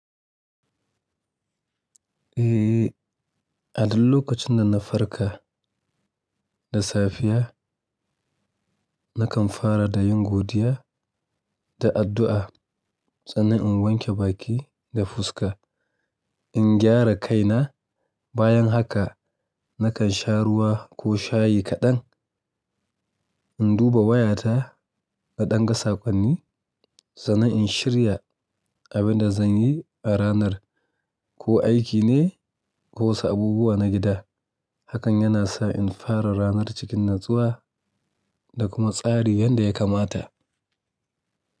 Eh, a duk lokacin da na farka da safiya, nakan fara da yin godiya da addu'a sannan in wanke baki da fuska. In gyara kaina, bayan haka nakan sha ruwa ko shayi kaɗan. In duba wayata na ɗan ga sakonni sannan in shirya abin da zan yi a ranar, ko aiki ne ko wasu abubuwa na gida. Hakan yana sa in fara ranar cikin natsuwa da kuma tsari yanda ya kamata.